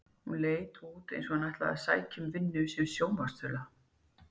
Hún leit út eins og hún ætlaði að sækja um vinnu sem sjónvarpsþula.